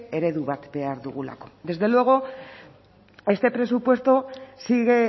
eredu bat behar dugulako desde luego este presupuesto sigue